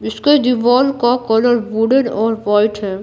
इसके दिवाल का कलर वुडेन और वाइट है।